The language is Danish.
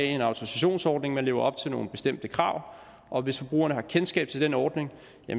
en autorisationsordning man lever op til nogle bestemte krav og hvis forbrugerne har kendskab til denne ordning